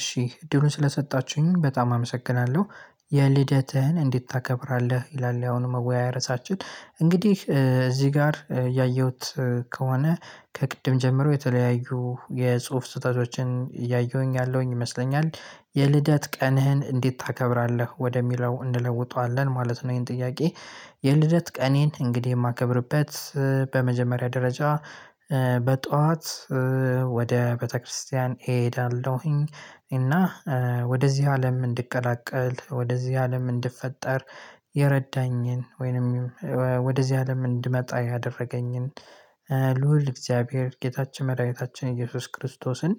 እሺ እድሉን ስለሰጣችሁኝ በጣም አመሰግናለሁ። የልደትህን እንዴት ታከብራለህ? ይላል ያሁኑ መወያያ ርዕሳችን እንግዲህ እዚህ ጋር ያየሁት ከሆነ ከቅድም ጀምሮ የተለያዩ የጽሁፍ ስህተቶችን እያየሁኝ ያለሁኝ ይመስለኛል። የልደት ቀንህን እንዴት ታከብራለህ ወደሚለው እንለውጣለን ማለት ነው ይሄን ጥያቄ? የልደት ቀኔን እንግዲህ የማከብርበት በመጀመሪያ ደረጃ በጧት ወደ ቤተክርስቲያን እሄዳለሁኝ እና ወደዚህ አለም እንድቀላቀል ወደዚህ አለም እንድፈጠር የረዳኝን ወይንም ወደዚህ አለም እንድመጣ ያደረገኝን ልዑል እግዚአብሔር ጌታችን መድኃኒታችን ኢየሱስ ክርስቶስን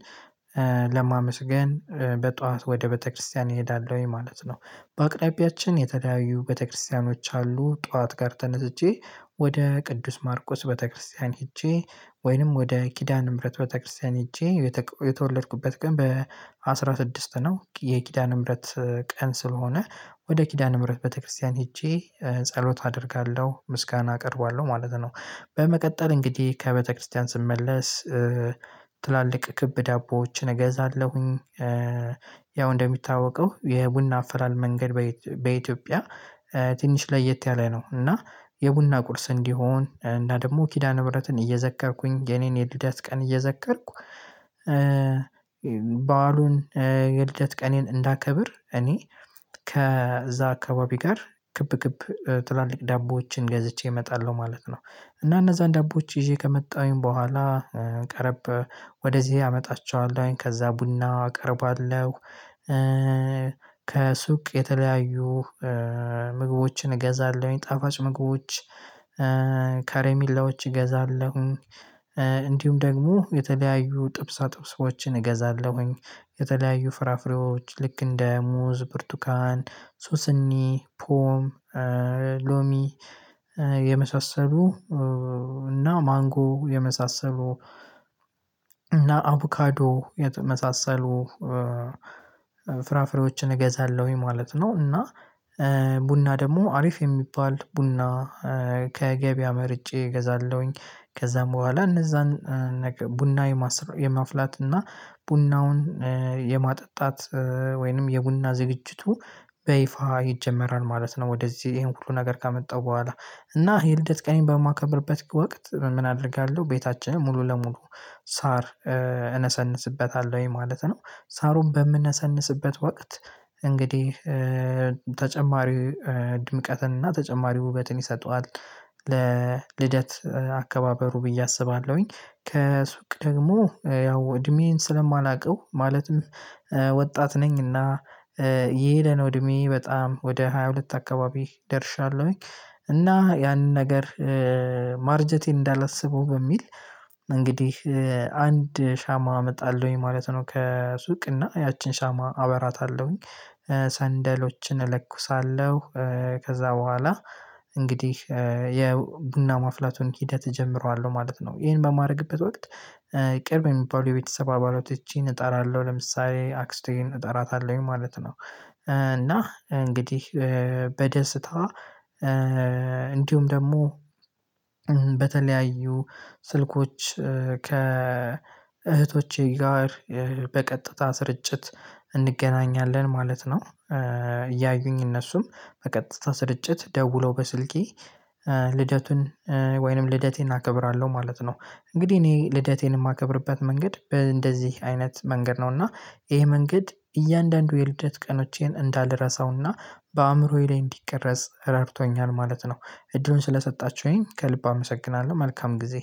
ለማመስገን በጧት ወደ ቤተክርስቲያን እሄዳለሁኝ ማለት ነው። በአቅራቢያችን የተለያዩ ቤተክርስቲያኖች አሉ ጠዋት ጋር ተነስቼ ወደ ቅዱስ ማርቆስ ወደ ቤተክርስቲያን ሄጄ ወይንም ወደ ኪዳን ምህረት ወደ ቤተክርስቲያን ሄጄ የተወለድኩበት ቀን በአስራ ስድስት ነው የኪዳነ ምህረት ቀን ስለሆነ ወደ ኪዳነ ምህረት ቤተክርስቲያን ሄጄ ጸሎት አደርጋለሁ ምስጋና አቀርቧለሁ ማለት ነው። በመቀጠል እንግዲህ ከቤተክርስቲያን ስመለስ ትላልቅ ክብ ዳቦዎችን እገዛለሁኝ ያው እንደሚታወቀው የቡና አፈራል መንገድ በኢትዮጵያ ትንሽ ለየት ያለ ነው። እና የቡና ቁርስ እንዲሆን እና ደግሞ ኪዳነ ህብረትን እየዘከርኩኝ የኔን የልደት ቀን እየዘከርኩ በዓሉን የልደት ቀኔን እንዳከብር እኔ ከዛ አካባቢ ጋር ክብ ክብ ትላልቅ ዳቦዎችን ገዝቼ እመጣለሁ ማለት ነው። እና እነዛን ዳቦዎች ይዤ ከመጣሁኝ በኋላ ቀረብ ወደዚህ አመጣቸዋለሁኝ ከዛ ቡና አቀርባለሁ ከሱቅ የተለያዩ ምግቦችን እገዛለሁኝ ጣፋጭ ምግቦች ከሬሚላዎች እገዛለሁኝ እንዲሁም ደግሞ የተለያዩ ጥብሳ ጥብሶችን እገዛለሁኝ የተለያዩ ፍራፍሬዎች ልክ እንደ ሙዝ ብርቱካን ሱስኒ ፖም ሎሚ የመሳሰሉ እና ማንጎ የመሳሰሉ እና አቦካዶ የተመሳሰሉ ፍራፍሬዎችን እገዛለሁኝ ማለት ነው። እና ቡና ደግሞ አሪፍ የሚባል ቡና ከገበያ መርጬ እገዛለሁኝ ከዛም በኋላ እነዛን ቡና የማስር የማፍላት እና ቡናውን የማጠጣት ወይንም የቡና ዝግጅቱ በይፋ ይጀመራል ማለት ነው። ወደዚህ ይሄን ሁሉ ነገር ካመጣው በኋላ እና የልደት ቀኔን በማከብርበት ወቅት ምን አደርጋለሁ ቤታችንን ሙሉ ለሙሉ ሳር እነሰንስበታለሁኝ ማለት ነው። ሳሩን በምነሰንስበት ወቅት እንግዲህ ተጨማሪ ድምቀትን እና ተጨማሪ ውበትን ይሰጠዋል ለልደት አከባበሩ ብዬ አስባለሁኝ። ከሱቅ ደግሞ ያው እድሜዬን ስለማላውቀው ማለትም ወጣት ነኝ እና እየሄደ ነው እድሜየ በጣም ወደ ሃያ ሁለት አካባቢ ደርሻለሁኝ። እና ያንን ነገር ማርጀቴን እንዳላስበው በሚል እንግዲህ አንድ ሻማ አመጣለሁኝ ማለት ነው። ከሱቅ እና ያቺን ሻማ አበራታለሁኝ ሰንደሎችን እለኩሳለሁ ከዛ በኋላ እንግዲህ የቡና ማፍላቱን ሂደት እጀምረዋለሁ ማለት ነው። ይሄን በማድረግበት ወቅት ቅርብ የሚባሉ የቤተሰብ አባላቶቼን እጠራለሁ ለምሳሌ አክስቴን እጠራታለሁኝ ማለት ነው። እና እንግዲህ በደስታ እንዲሁም ደግሞ በተለያዩ ስልኮች ከእህቶቼ ጋር በቀጥታ ስርጭት እንገናኛለን ማለት ነው። እያዩኝ እነሱም በቀጥታ ስርጭት ደውለው በስልኬ ልደቱን ወይንም ልደቴን አከብራለሁ ማለት ነው። እንግዲህ እኔ ልደቴን የማከብርበት መንገድ እንደዚህ አይነት መንገድ ነው እና ይሄ መንገድ እያንዳንዱ የልደት ቀኖቼን እንዳላረሳውና በአእምሮዬ ላይ እንዲቀረጽ ረብቶኛል ማለት ነው። እድሉን ስለሰጣችሁኝ ከልብ አመሰግናለሁ መልካም ጊዜ።